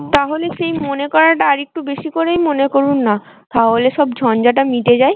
তাহলে সেই মনে করাটা আর একটু বেশি করে মনে করুন না, তাহলে সব ঝঞ্ঝাটা মিটে যায়।